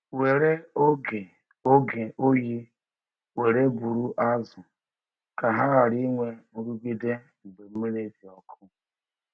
Were oge oge oyi were buru azụ ka ha ghara inwe nrụgide mgbe mmiri dị ọkụ.